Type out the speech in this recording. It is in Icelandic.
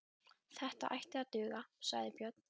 Þetta ætti að duga, sagði Björn.